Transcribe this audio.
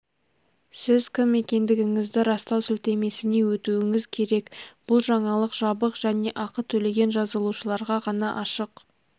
сіз кім екендігіңізді растау сілтемесіне өтуіңіз керек бұл жаңалық жабық және ақы төлеген жазылушыларға ғана ашық